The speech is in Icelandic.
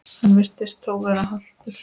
Hann virtist þó vera haltur.